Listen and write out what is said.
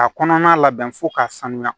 A kɔnɔna labɛn fo k'a sanuya